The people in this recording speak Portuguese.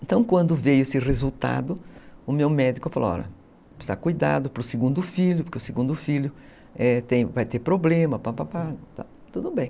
Então, quando veio esse resultado, o meu médico falou, olha, precisa de cuidado para o segundo filho, porque o segundo filho vai ter problema, tudo bem.